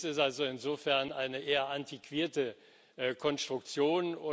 es ist also insofern eine eher antiquierte Konstruktion.